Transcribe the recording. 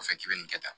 O fɛ k'i bɛ nin kɛ tan